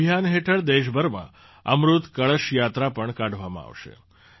આ અભિયાન હેઠળ દેશભરમાં અમૃત કળશ યાત્રા પણ કાઢવામાં આવશે